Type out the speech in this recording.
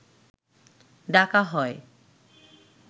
ডাকা হয়